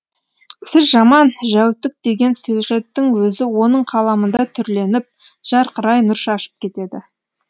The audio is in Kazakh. сіз жаман жәутік деген сюжеттің өзі оның қаламында түрленіп жарқырай нұр шашып кетеді